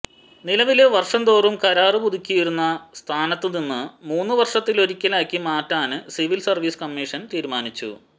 നിലവില് വര്ഷം തോറും കരാര് പുതുക്കിയിരുന്ന സ്ഥാനത്തുനിന്ന് മൂന്ന് വര്ഷത്തിലൊരിക്കലാക്കി മാറ്റാന് സിവില് സര്വീസ് കമ്മീഷന് തീരുമാനിച്ചു